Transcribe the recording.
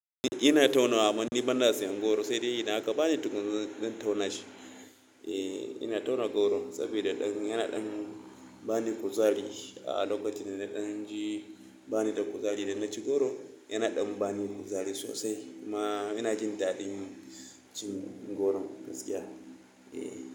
Ina tauna wa bana siyan goro, sai dai ina aka bani tukunya zan tauna shi. Eee! Ina tauna goron saboda yana ban kuzari. A lokacin da na ɗan ji bani da kuzari idan na ci goro, yana ɗan bani kuzari sosai. Ma ina jin daɗin cin goron gaskiya.